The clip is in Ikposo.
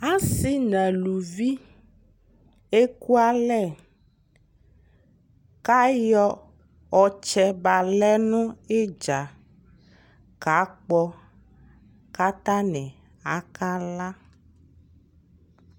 asii nʋ alʋvi ɛkʋ alɛ kʋ ayɔ ɔtsɛ balɛ nʋ itdza ka kpɔ kʋ atani aka la